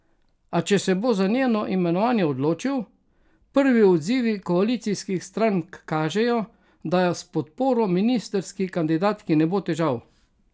A, če se bo za njeno imenovanje odločil, prvi odzivi koalicijskih strank kažejo, da s podporo ministrski kandidatki ne bo težav.